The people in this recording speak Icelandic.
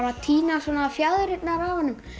að tína fjaðrirnar af honum